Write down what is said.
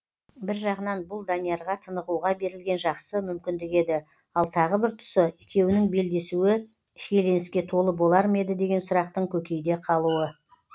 бір жағынан бұл даниярға тынығуға берілген жақсы мүмкіндік еді ал тағы бір тұсы екеуінің белдесуі шиеленіске толы болар ма еді деген сұрақтың көкейде қалуы